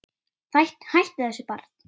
Hættu þessu barn!